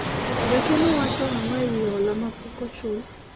jakeno wacho ang'o ewi hola mapok ochul ?